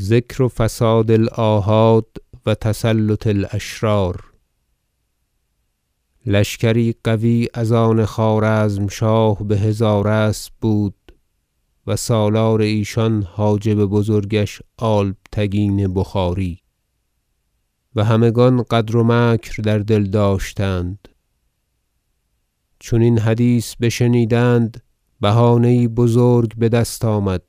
ذکر فساد الاحاد و تسلط الأشرار لشکری قوی از آن خوارزمشاه بهزار اسب بود و سالار ایشان حاجب بزرگش البتگین بخاری و همگان غدر و مکر در دل داشتند چون این حدیث بشنیدند بهانه یی بزرگ بدست آمد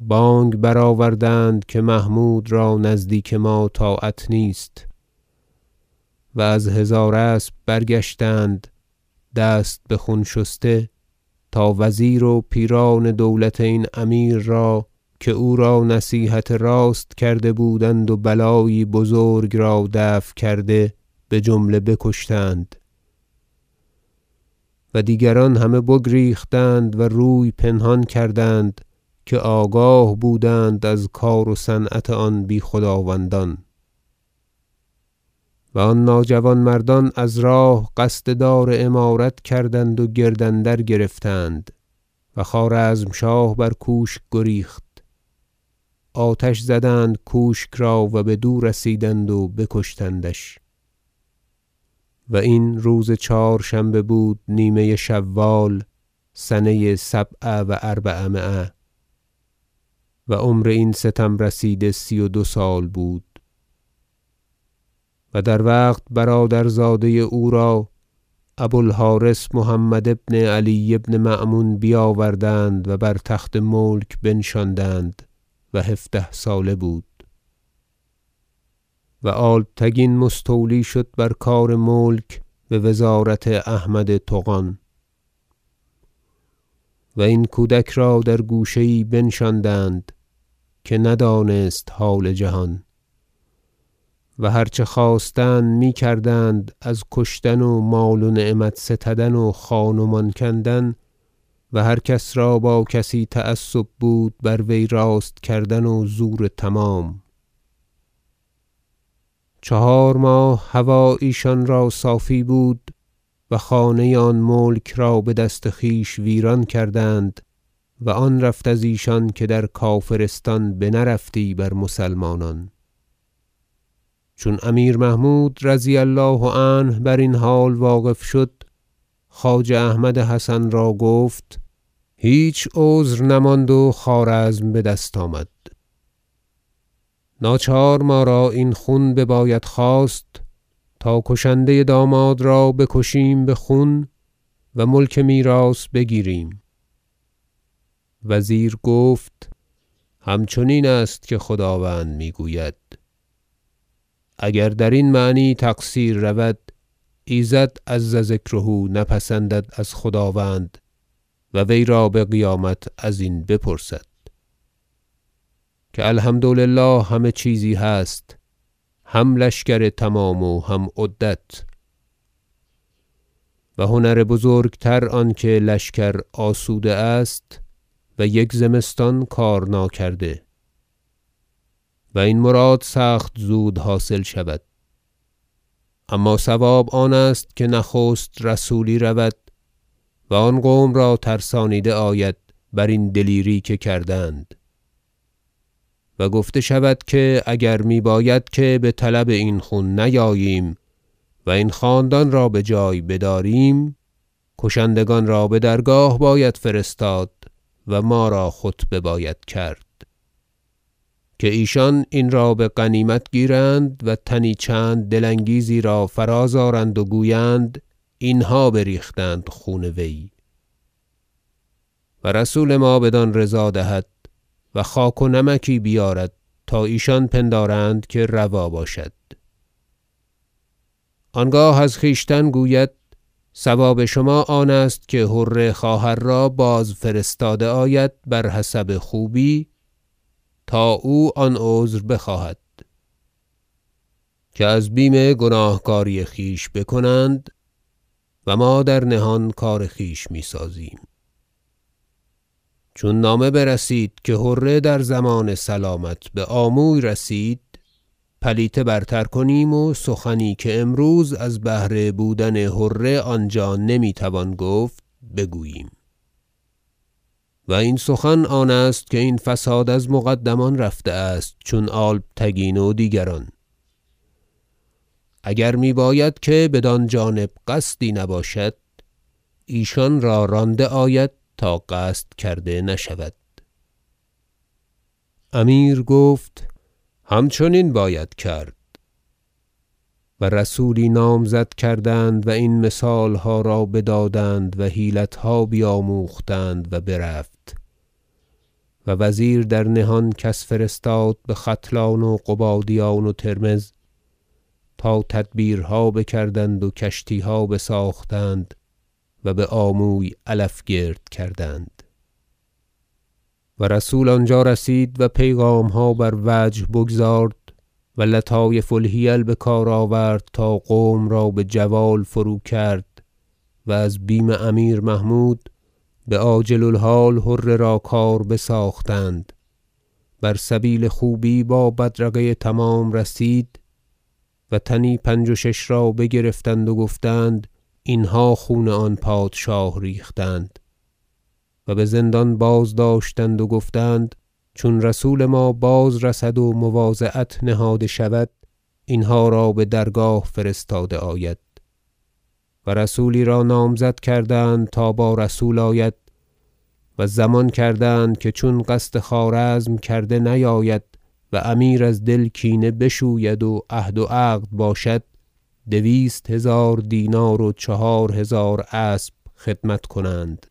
بانگ برآوردند که محمود را نزدیک ما طاعت نیست و از هزار اسب برگشتند دست بخون شسته تا وزیر و پیران دولت این امیر را که او را نصیحت راست کرده بودند و بلایی بزرگ را دفع کرده بجمله بکشتند و دیگران همه بگریختند و روی پنهان کردند که آگاه بودند از کار و صنعت آن بی خداوندان و آن ناجوانمردان از راه قصد دار امارت کردند و گرد اندر گرفتند و خوارزمشاه بر کوشک گریخت آتش زدند کوشک را و بدو رسیدند و بکشتندش و این روز چهارشنبه بود نیمه شوال سنه سبع و اربعمایه و عمر این ستم رسیده سی و دو سال بود و در وقت برادر- زاده او را ابو الحرث محمد بن علی بن مأمون بیاوردند و بر تخت ملک بنشاندند و هفده ساله بود و البتگین مستولی شد بر کار ملک بوزارت احمد طغان و این کودک را در گوشه یی بنشاندند که ندانست حال جهان و هر چه خواستند میکردند از کشتن و مال و نعمت ستدن و خان و مان کندن و هر کس را که با کسی تعصب بود بر وی راست کردن و زور تمام چهار ماه هوا ایشان را صافی بود و خانه آن ملک را بدست خویش ویران کردند و آن رفت از ایشان که در کافرستان بنرفتی بر مسلمانان چون امیر محمود رضی الله عنه برین حال واقف شد خواجه احمد حسن را گفت هیچ عذر نماند و خوارزم بدست آمد ناچار ما را این خون بباید خواست تا کشنده داماد را بکشیم بخون و ملک میراث بگیریم وزیر گفت همچنین است که خداوند میگوید اگر درین معنی تقصیر رود ایزد عز ذکره نپسندد از خداوند و ویرا بقیامت ازین بپرسد که الحمد لله همه چیزی هست هم لشکر تمام و هم عدت و هنر بزرگتر آنکه لشکر آسوده است و یک زمستان کار ناکرده و این مراد سخت زود حاصل شود اما صواب آنست که نخست رسولی رود و آن قوم را ترسانیده آید برین دلیری که کردند و گفته شود که اگر می باید که بطلب این خون نیاییم و این خاندان را بجای بداریم کشندگان را بدرگاه باید فرستاد و ما را خطبه باید کرد که ایشان این را بغنیمت گیرند و تنی چند دل انگیزی را فراز آرند و گویند اینها بریختند خون وی و رسول ما بدان رضا دهد و خاک و نمکی بیارد تا ایشان پندارند که روا باشد آنگاه از خویشتن گوید صواب شما آنست که حره خواهر را بازفرستاده آید بر حسب خوبی تا او آن عذر بخواهد که از بیم گناهکاری خویش بکنند و ما در نهان کار خویش میسازیم چون نامه برسید که حره در ضمان سلامت بآموی رسید پلیته برتر کنیم و سخنی که امروز از بهر بودن حره آنجا نمیتوان گفت بگوییم و آن سخن آنست که این فساد از مقدمان رفته است چون البتگین و دیگران اگر میباید که بدان جانب قصدی نباشد ایشان را رانده آید تا قصد کرده نشود امیر گفت همچنین باید کرد و رسولی نامزد کردند و این مثالها را بدادند و حیلتها بیاموختند و برفت و وزیر در نهان کس فرستاد بختلان و قبادیان و ترمذ تا تدبیرها بکردند و کشتیها بساختند و بآموی علف گرد کردند و رسول آنجا رسید و پیغامها بر وجه بگزارد و لطایف الحیل بکار آورد تا قوم را بجوال فروکرد و از بیم امیر محمود بعاجل الحال حره را کار بساختند بر سبیل خوبی با بدرقه تمام رسید و تنی پنج و شش را بگرفتند و گفتند اینها خون آن پادشاه ریختند و بزندان بازداشتند و گفتند چون رسول ما باز رسد و مواضعت نهاده شود اینها را بدرگاه فرستاده آید و رسولی را نامزد کردند تا با رسول آید و ضمان کردند که چون قصد خوارزم کرده نیاید و امیر از دل کینه بشوید و عهد و عقد باشد دویست هزار دینار و چهار هزار اسب خدمت کنند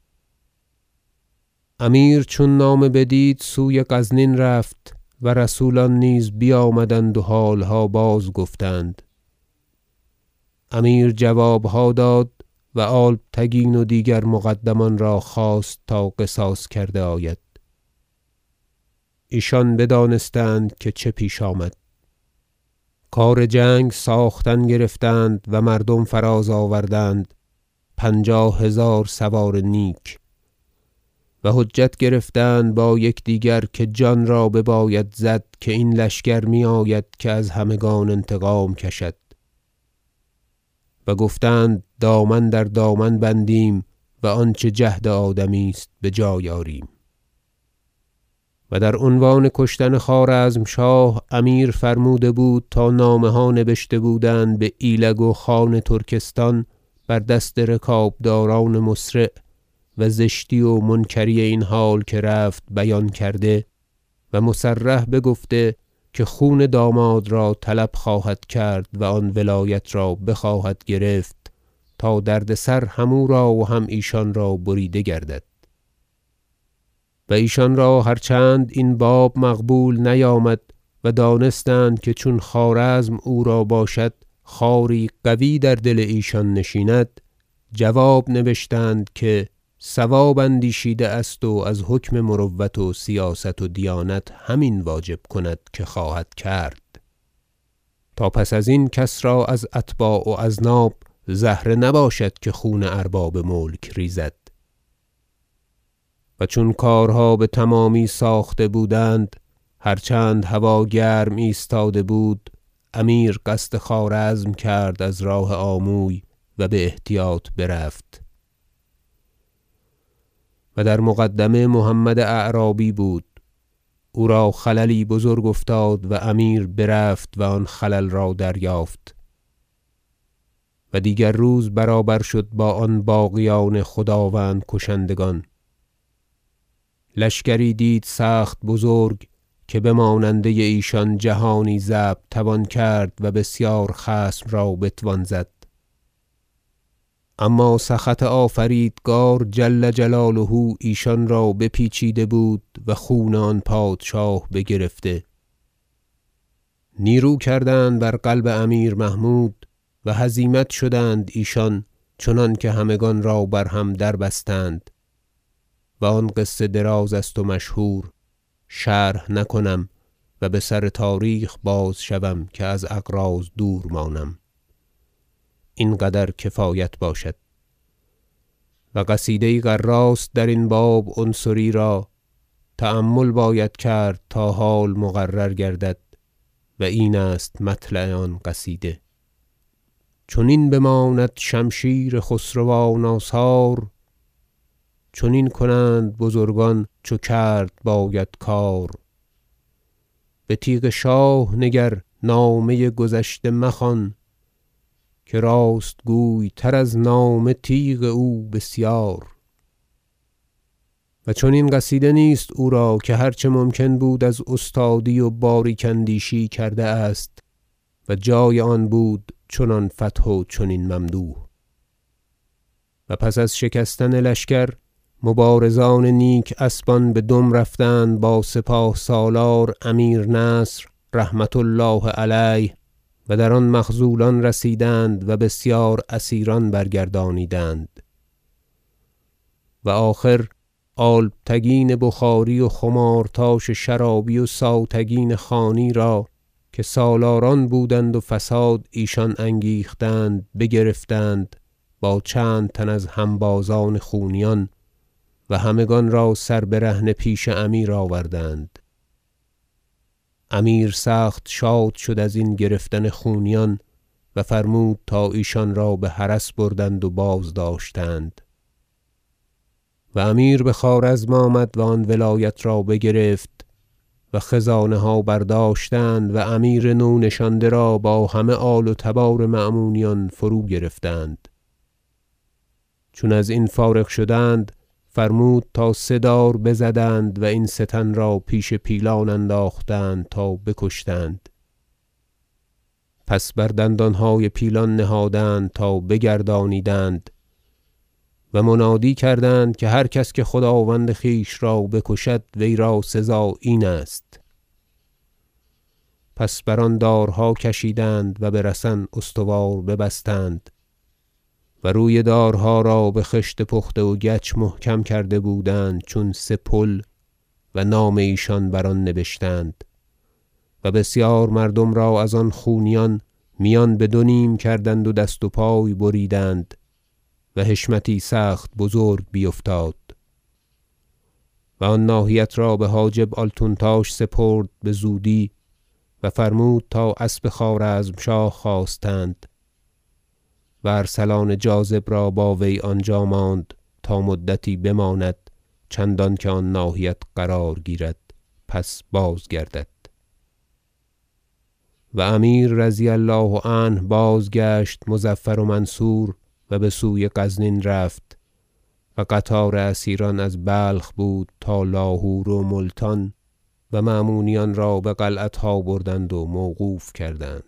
امیر چون نامه بدید سوی غزنین رفت و رسولان نیز بیامدند و حالها باز گفتند امیر جوابها داد و البتگین و دیگر مقدمان را خواست تا قصاص کرده آید ایشان بدانستند که چه پیش آمد کار جنگ ساختن گرفتند و مردم فراز آوردند پنجاه هزار سوار نیک و حجت گرفتند با یکدیگر که جان را بباید زد که این لشکر میآید که از همگان انتقام کشد و گفتند دامن در دامن بندیم و آنچه جهد آدمی است بجای آریم و در عنوان کشتن خوارزمشاه امیر فرموده بود تا نامه ها نبشته بودند بایلگ و خان ترکستان بر دست رکابداران مسرع و زشتی و منکری این حال که رفت بیان کرده و مصرح بگفته که خون داماد را طلب خواهد کرد و آن ولایت را بخواهد گرفت تا دردسر هم او را و هم ایشان را بریده گردد و ایشان را هر چند این باب مقبول نیامد و دانستند که چون خوارزم او را باشد خاری قوی در دل ایشان نشیند جواب نبشتند که صواب اندیشیده است و از حکم مروت و سیاست و دیانت همین واجب کند که خواهد کرد تا پس ازین کس را از اتباع و اذناب زهره نباشد که خون ارباب ملک ریزد و چون کارها بتمامی ساخته بودند هر چند هوا گرم ایستاده بود امیر قصد خوارزم کرد از راه آموی و باحتیاط برفت و در مقدمه محمد اعرابی بود او را خللی بزرگ افتاد و امیر برفت و آن خلل را دریافت و دیگر روز برابر شد با آن باغیان خداوند کشندگان لشکری دید سخت بزرگ که بماننده ایشان جهانی ضبط توان کرد و بسیار خصم را بتوان زد اما سخط آفریدگار جل جلاله ایشان را به پیچیده بود و خون آن پادشاه بگرفته نیرو کردند بر قلب امیر محمود و هزیمت شدند ایشان چنانکه همگان را بر هم دربستند و آن قصه دراز است و مشهور شرح نکنم و بسر تاریخ باز شوم که از اغراض دور مانم این قدر کفایت باشد و قصیده یی غراست درین باب عنصری را تأمل باید کرد تا حال مقرر گردد و این است مطلع آن قصیده چنین بماند شمشیر خسروان آثار چنین کنند بزرگان چو کرد باید کار بتیغ شاه نگر نامه گذشته مخوان که راست گوی تر از نامه تیغ او بسیار و چنین قصیده نیست او را که هر چه ممکن بود از استادی و باریک اندیشی کرده است و جای آن بود چنان فتح و چنین ممدوح و پس از شکستن لشکر مبارزان نیک اسبان بدم رفتند با سپاه سالار امیر نصر رحمة الله علیه و در آن مخذولان رسیدند و بسیار اسیران برگردانیدند و آخر البتگین بخاری و خمارتاش شرابی و ساوتگین خانی را که سالاران بودند و فساد ایشان انگیختند بگرفتند با چند تن از هنبازان خونیان و همگان را سر برهنه پیش امیر آوردند امیر سخت شاد شد ازین گرفتن خونیان و فرمود تا ایشان را بحرس بردند و بازداشتند و امیر بخوارزم آمد و آن ولایت را بگرفت و خزانه ها برداشتند و امیر نو نشانده را با همه آل و تبار مأمونیان فرو- گرفتند چون ازین فارغ شدند فرمود تا سه دار بزدند و این سه تن را پیش پیلان انداختند تا بکشتند پس بر دندانهای پیلان نهادند تا بگردانیدند و منادی کردند که هر کس که خداوند خویش را بکشد ویرا سزا این است پس بر آن دارها کشیدند و بر سن استوار ببستند و روی دارها را بخشت پخته و گچ محکم کرده بودند چون سه پل و نام ایشان بر آن نبشتند و بسیار مردم را از آن خونیان میان بدو نیم کردند و دست و پای بریدند و حشمتی سخت بزرگ بیفتاد و آن ناحیت را بحاجب آلتونتاش سپرد بزودی و فرمود تا اسب خوارزمشاه خواستند و ارسلان جاذب را با وی آنجا ماند تا مدتی بماند چندان که آن ناحیت قرار گیرد پس بازگردد و امیر رضی الله عنه بازگشت مظفر و منصور و بسوی غزنین رفت و قطار اسیران از بلخ بود تا لاهور و ملتان و مأمونیان را بقلعتها بردند و موقوف کردند